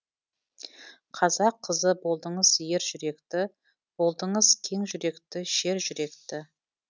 қазақ қызы болдыңыз ер жүректі болдыңыз кең жүректі шер жүректі